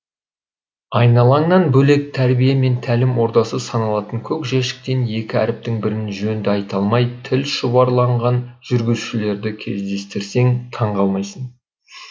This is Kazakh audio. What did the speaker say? айналаңнан бөлек тәрбие мен тәлім ордасы саналатын көк жәшіктен екі әріптің бірін жөнді айта алмай тілі шұбарланған жүргізушілерді кездестірсең таңғалмайсың